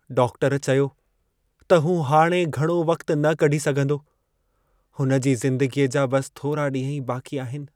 Doctor चयो त हू हाणे घणो वक़्तु न कढी सघंदो, हुन जी ज़िंदगीअ जा बसि थोरा ॾींह ई बाक़ी आहिनि।